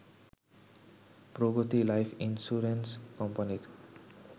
প্রগতি life insurance কোম্পানির